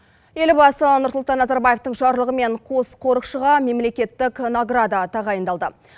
елбасы нұрсұлтан назарбаевтың жарлығымен қуыс қорықшыға мемлекеттік награда тағайындалды